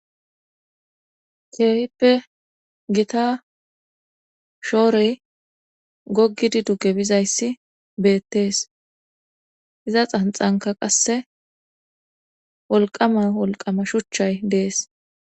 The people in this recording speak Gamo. keehippe gita shoory goggidi duke bizayssi beettees iza xanxanka qasse wolqama wolqama shuchchay dees